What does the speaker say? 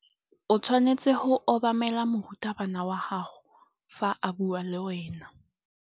O tshwanetse go obamela morutabana wa gago fa a bua le wena.